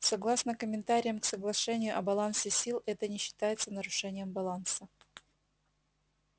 согласно комментариям к соглашению о балансе сил это не считается нарушением баланса